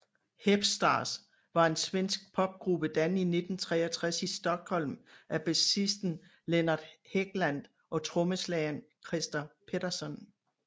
Hep Stars var en svensk popgruppe dannet i 1963 i Stockholm af basisten Lennart Hegland og trommeslageren Christer Pettersson